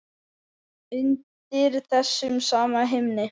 Undir þessum sama himni.